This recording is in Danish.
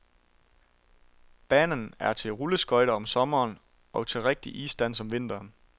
Banen er til rulleskøjter om sommeren og til rigtig isdans om vinteren.